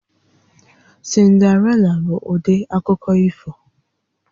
Cinderella bụ ụdị akụkọ ifo